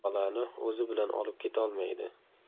Bolani o‘zi bilan olib ketolmaydi.